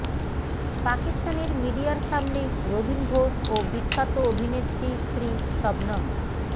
পাকিস্তানের মিডিয়ার সামনে রবীন ঘোষ ও বিখ্যাত অভিনেত্রী স্ত্রী শবনম